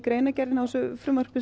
frumvarpið